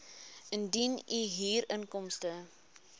indien u huurinkomste